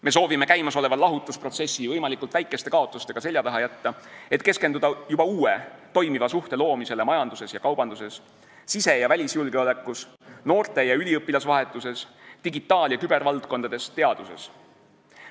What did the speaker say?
Me soovime käimasoleva lahutusprotsessi võimalikult väikeste kaotustega selja taha jätta, et keskenduda juba uue, toimiva suhte loomisele majanduses ja kaubanduses, sise- ja välisjulgeolekus, noorte- ja üliõpilasvahetuses, digitaal- ja kübervaldkonnas, teaduses.